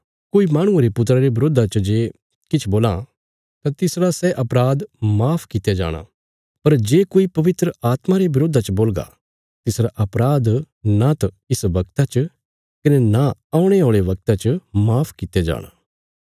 कोई माहणुये रे पुत्रा रे बरोधा च जे किछ बोलां तां तिसरा सै अपराध माफ कित्या जाणा पर जे कोई पवित्र आत्मा रे बरोधा च बोलगा तिसरा अपराध न त इस वगता च कने न औणे औल़े वगता च माफ कित्या जाणा